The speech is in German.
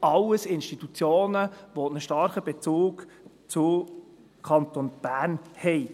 Dies sind alles starke Institutionen, die einen Bezug zum Kanton Bern haben.